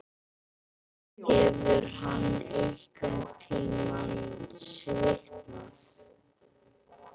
Hefur hann einhverntímann svitnað?